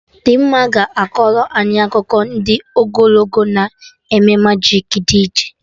Dimma ga-akọrọ anyị akụkọ ndị ogologo na eme majik dị iche